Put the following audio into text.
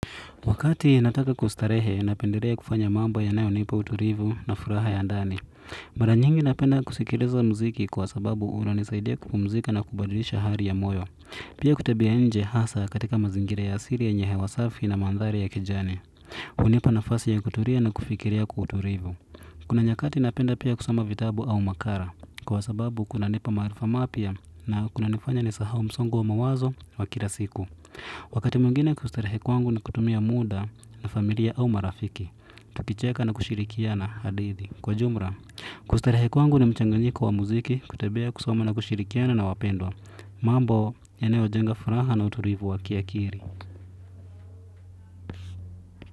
Wakati nataka kustarehe na pendelea kufanya mamba ya nayo nipa utulivu na furaha ya ndani. Mara nyingi napenda kusikiliza mziki kwa sababu unanisaidia kupumzika na kubadilisha hali ya moyo. Pia kutebea nje hasa katika mazingire ya asiri ya yenye hewa safi na mandhari ya kijani. Unipa na fasi ya kuturia na kufikiria kuturivu. Kuna nyakati napenda pia kusoma vitabu au makara kwa sababu kuna nipa marifa mapia na kuna nifanya nisahau msongo wa mawazo wa kila siku. Wakati muingine kustarehe kwangu ni kutumia muda na familia au marafiki, tukicheka na kushirikia na hadithi. Kwa jumra, kustarehe kwangu na mchanganyiko wa muziki, kutebea kusoma na kushirikiana na wapendwa, mambo yanayo jenga furaha na uturivu wa ki akiri.